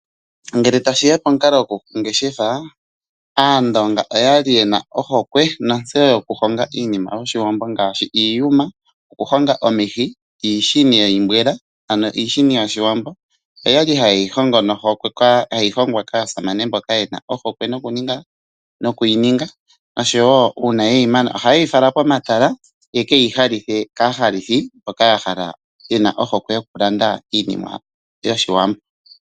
Ngele tashi ya konkalo yokushingitha , aandonga oyali yena ohokwe nontseyo yokuhonga iinima yOshiwambo ngaashi iiyuma okuhonga omihi, iishini yiimbwela ano iishini yOshiwambo, oyali haye yi hongo nohokwe, hayi hongwa kaasamane mboka ye na ohokwe noku yi ninga oshowo uuna yeyi mana ohaye yi fala komatala ye ke yi halithe kaahalithi mboka yahala yena ohokwe yokulanda iinima yOshiwambo.